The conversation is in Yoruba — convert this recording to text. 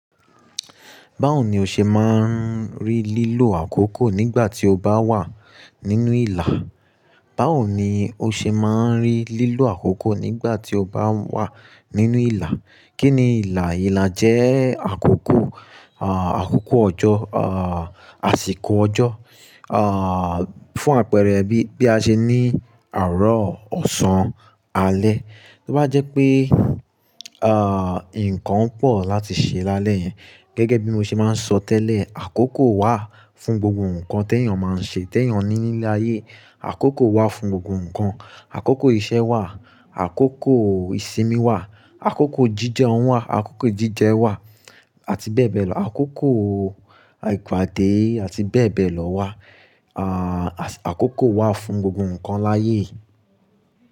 Báwo ni o ṣe máa ń rí lílò àkókò nígbà tí o bá wà nínú ìlà? Báwo ni o ṣe máa ń rí lílò àkókò nígbà tí o bá wà nínú ìlà? Kí ni ìlà? Ìlà jẹ́ àkókò, à, àkókò ọjọ́, à, àsìkò ọjọ́, à, fún àpẹẹrẹ bí, bí a ṣe ní àárọ̀, ọ̀sán, alẹ́. Bí bá jẹ́ pé, à, nǹkan pọ̀ láti ṣe lálẹ́ yẹn, gẹ́gẹ́ bí mo ṣe máa ń sọ tẹ́lẹ̀, àkókò wà fún gbogbo nǹkan tí èèyàn máa ń ṣe, tí èèyàn ní nílé ayé. Àkókò wà fún gbogbo nǹkan. Àkókò iṣẹ́ wà, àkókò ìsinmi wà, àkókò jíjẹun wà, àkókò jíjẹ wà àti bẹ́ẹ̀ bẹ́ẹ̀ lọ. Àkókò àìpàdé àti bẹ́ẹ̀ bẹ́ẹ̀ lọ wà. À, àkókò wà fún gbogbo nǹkan láyé.